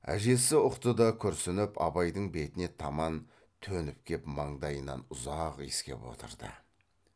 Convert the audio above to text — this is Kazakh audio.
әжесі ұқты да күрсініп абайдың бетіне таман төніп кеп маңдайынан ұзақ иіскеп отырды